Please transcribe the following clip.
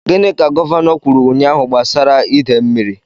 Gịnị ka Gọvanọ kwuru ụnyahụ gbasara ide mmiri?